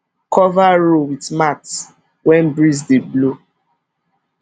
cover row with mat when breeze dey blow